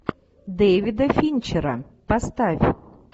дэвида финчера поставь